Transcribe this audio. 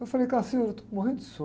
Eu falei, eu estou morrendo de sono.